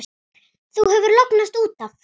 Þú hefur lognast út af!